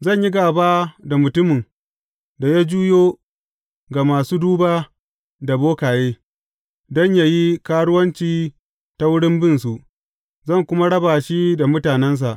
Zan yi gāba da mutumin da ya juyo ga masu duba da bokaye, don yă yi karuwanci ta wurin bin su, zan kuma raba shi daga mutanensa.